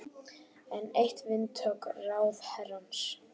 Enn eitt vindhögg ráðherrans